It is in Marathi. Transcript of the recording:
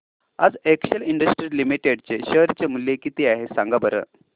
आज एक्सेल इंडस्ट्रीज लिमिटेड चे शेअर चे मूल्य किती आहे सांगा बरं